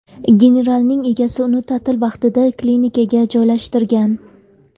Generalning egasi uni ta’til vaqtida klinikaga joylashtirgan.